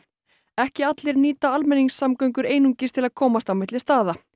ekki allir nýta almenningssamgöngur einungis til að komast á milli staða